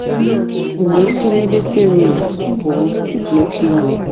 O we si n'ebe Fero nọ pua n'oke iwe